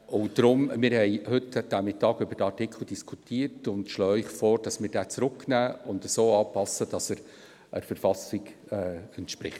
Wir haben heute über diesen Artikel diskutiert und schlagen Ihnen vor, diesen in die Kommission zurückzunehmen und so anzupassen, dass er der KV entspricht.